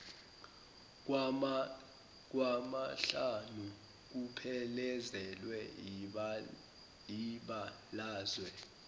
kwamahlanu kuphelezelwe yibalazwe